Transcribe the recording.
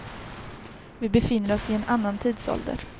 Vi befinner oss i en annan tidsålder.